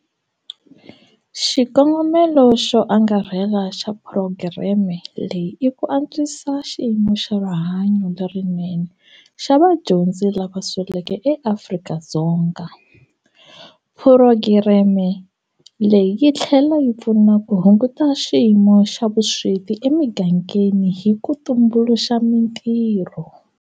Xikongomelo xo angarhela xa phurogireme leyi i ku antswisa xiyimo xa rihanyo lerinene xa vadyondzi lava sweleke eAfrika-Dzonga. Phurogireme leyi yi tlhela yi pfuna ku hunguta xiyimo xa vusweti emigangeni hi ku tumbuluxa mitirho.